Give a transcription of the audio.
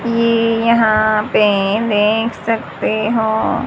ये यहां पे देख सकते हो--